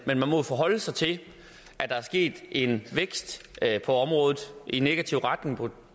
men man må jo forholde sig til at der er sket en vækst på området i negativ retning